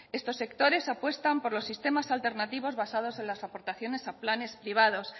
estos sectores apuestan por los sistemas alternativos basados en las aportaciones a planes privados